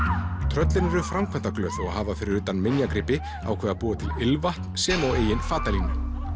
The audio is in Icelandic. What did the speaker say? tröllin eru framkvæmdaglöð og hafa fyrir utan minjagripi ákveðið að búa til ilmvatn sem og eigin fatalínu